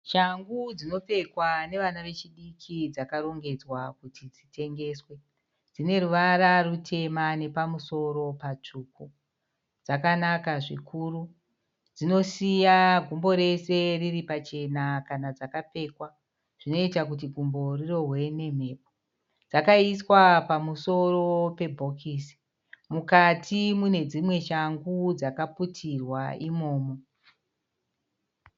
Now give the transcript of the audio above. Shangu dzinopfekwa nevana vechidiki dzakarongedzwa kuti dzitengeswe. Dzineruvara rutema nepamusoro patsvuku, dzakanaka zvikuru. Dzinosiya gumbo rese riripachena kana dzakapfekwa, dzinoita kuti gumbo rirohwe nemhepo. Dzakaiswa pamusoro pebhokisi, mukati munedzimwe shangu dzakaputirwa imomo.